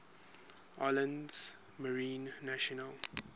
islands marine national